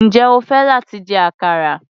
Njẹ́ o fẹ́ láti jẹ àkàrà?